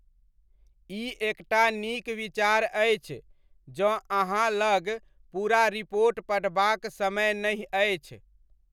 ई एकटा नीक विचार अछि जँ अहाँ लग पूरा रिपोट पढ़बाक समय नहि अछि।